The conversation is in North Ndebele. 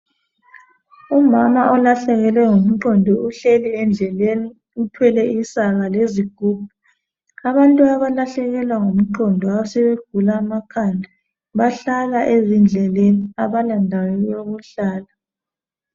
Umama olahlekelwe ngumqondo uhleli endleleni uthwele isaka lezigubhu abantu abalahlekelwa ngumqondo asebegula amakhanda bahlala ezindleleni abala ndawo yokuhlala.